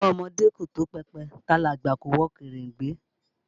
Ọwọ́ ọmọdé kò tó pẹpẹ, tàgbàlagbà kò wọ kèrèǹgbè